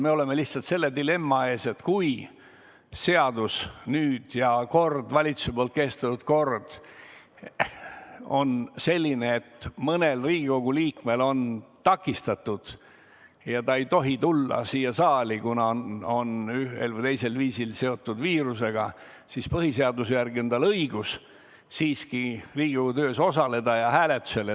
Me oleme lihtsalt dilemma ees, et seadus ja valitsuse poolt kehtestatud kord on selline, et kui mõnel Riigikogu liikmel on vahetu osalemine takistatud ja ta ei tohi tulla siia saali, kuna ta on ühel või teisel viisil seotud viirusega, siis põhiseaduse järgi on tal õigus siiski Riigikogu töös osaleda ja hääletadae.